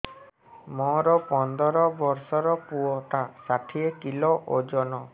ମୋର ପନ୍ଦର ଵର୍ଷର ପୁଅ ଟା ଷାଠିଏ କିଲୋ ଅଜନ